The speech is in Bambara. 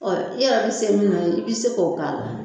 Ɔ i yɛrɛ bɛ se min na i bɛ se k'o k'a la